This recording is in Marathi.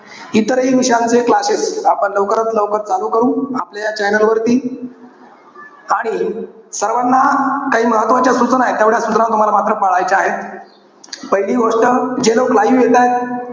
इतरही विषयांचे classes आपण लवकरात लवकर चालू करू आपल्या या channel वरती. आणि सर्वाना काही महत्वाच्या सूचना आहे. तेवढ्या सूचना मात्र तुम्हाला पाळायच्या आहेत. पहिली गोष्ट जे लोक live येतायत.